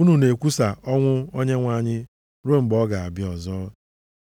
unu na-ekwusa ọnwụ Onyenwe anyị ruo mgbe ọ ga-abịa ọzọ.